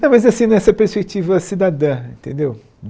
Não, mas é assim, nessa perspectiva cidadã, entendeu?